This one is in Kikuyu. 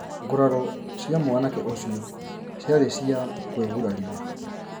Ngũraro cia mwanake ũcio ciarĩ cia kũĩguraria